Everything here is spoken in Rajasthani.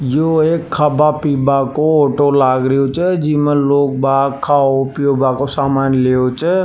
यो एक खाबा पीवा को ऑटो लाग रहो छे जिमें लोग बाग खाब पीयब को सामान ले ओ छे।